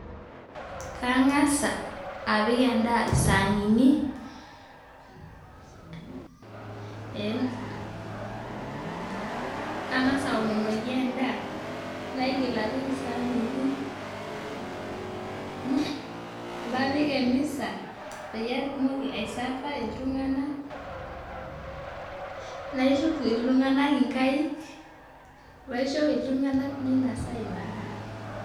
Kang'asa apik en'daa isaanini, kang'asa aomonoki end'aa, naigil apik isaanini, napik emisa peyie atumoki aiserver iltung'anak, naituku iltung'anak inkaik, naisho iltung'anak meinosa ina daa